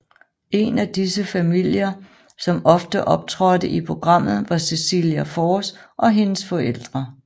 En af disse familier som ofte optrådte i programmet var Cecilia Forss og hendes forældre